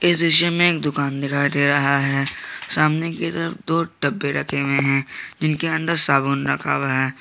इस दृश्य में एक दुकान दिखाई दे रहा है सामने की तरफ दो डब्बे रखे हुए हैं जिनके अंदर साबुन रखा हुआ है।